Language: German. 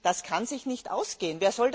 Das kann sich nicht ausgehen.